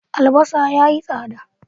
Albasa ya yi tsada.